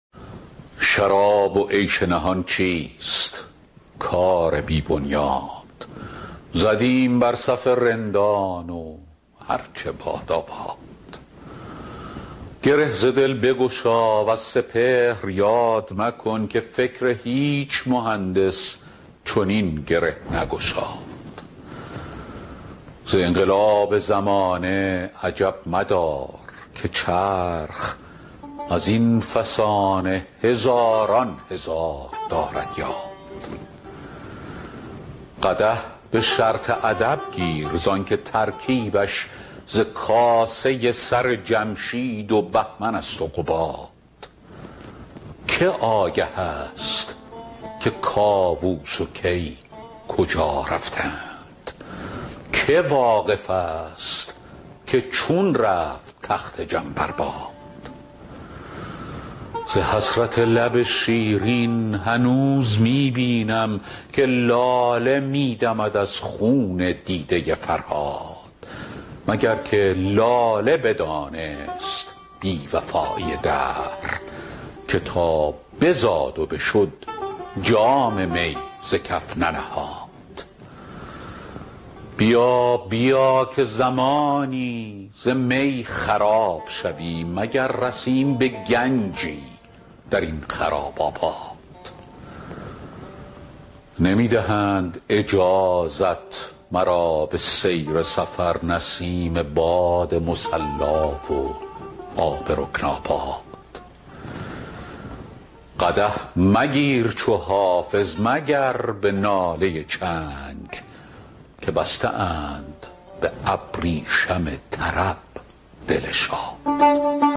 شراب و عیش نهان چیست کار بی بنیاد زدیم بر صف رندان و هر چه بادا باد گره ز دل بگشا وز سپهر یاد مکن که فکر هیچ مهندس چنین گره نگشاد ز انقلاب زمانه عجب مدار که چرخ از این فسانه هزاران هزار دارد یاد قدح به شرط ادب گیر زان که ترکیبش ز کاسه سر جمشید و بهمن است و قباد که آگه است که کاووس و کی کجا رفتند که واقف است که چون رفت تخت جم بر باد ز حسرت لب شیرین هنوز می بینم که لاله می دمد از خون دیده فرهاد مگر که لاله بدانست بی وفایی دهر که تا بزاد و بشد جام می ز کف ننهاد بیا بیا که زمانی ز می خراب شویم مگر رسیم به گنجی در این خراب آباد نمی دهند اجازت مرا به سیر سفر نسیم باد مصلا و آب رکن آباد قدح مگیر چو حافظ مگر به ناله چنگ که بسته اند بر ابریشم طرب دل شاد